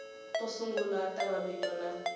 to sungula ta mavito na